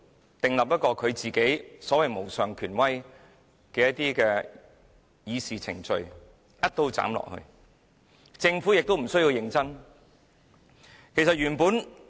他訂立了所謂主席無上權威的議事程序，"一刀斬下來"，而政府亦無須認真處事。